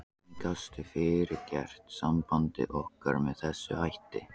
Hvernig gastu fyrirgert sambandi okkar með þessum hætti?